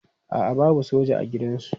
A'a babu soja a gidansu.